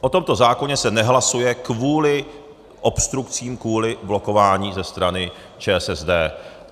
O tomto zákoně se nehlasuje kvůli obstrukcím, kvůli blokování ze strany ČSSD.